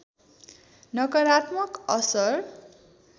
नकारात्मक असर